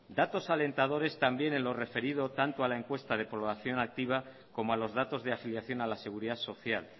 datos alentadores también en lo referido tanto a la encuesta de población activa como a los datos de afiliación a la seguridad social